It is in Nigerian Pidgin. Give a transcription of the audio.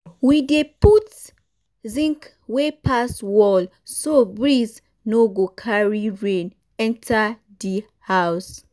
we dey put zinc wey pass wall so breeze no go carry rain enter di house.